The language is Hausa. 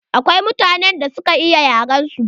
Akwai mutanen da suka iya yaren su.